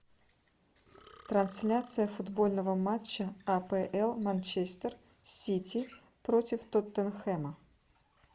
трансляция футбольного матча апл манчестер сити против тоттенхэма